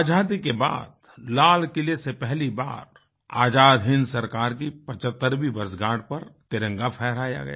आजादी के बादलालकिले से पहली बार आज़ाद हिन्द सरकार की 75वीं वर्षगाँठ पर तिरंगा फहराया गया